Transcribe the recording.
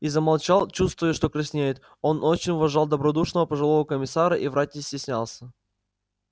и замолчал чувствуя что краснеет он очень уважал добродушного пожилого комиссара и врать не стеснялся